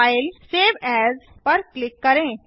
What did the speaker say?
फाइलगटीजीटी save as पर click करें